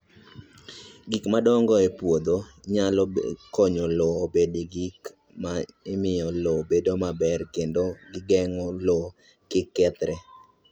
Gik modong' e puothe nyalo konyo lowo obed gi gik ma miyo lowo bedo maber kendo geng'o lowo kik kethre.